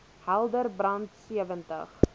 helder brand sewentig